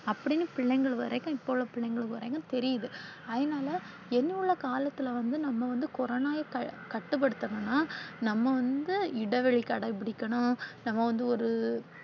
அப்படினு பிள்ளைங்க வரைக்கும் இப்ப உள்ள பிள்ளைங்க வரைக்கும் தெரியுது. அதனால இன்னும் உள்ள காலத்துல வந்து நாம வந்து கொரோனாவ கட்டுப்படுத்துனும்னா நாம வந்து இடைவெளியை கடைபிடிக்கனும், நாம வந்து ஒரு